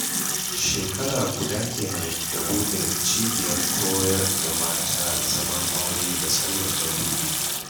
Shekara guda kenan da buɗe cibiyar koyar da mata zaman aure da Salma ta buɗe